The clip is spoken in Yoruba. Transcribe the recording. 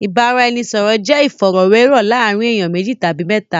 Ìbáraẹnisọ̀rọ̀ jẹ́ ìfọ̀rọ̀wérọ̀ láàárín ènìyàn méjì tàbí mẹ́ta.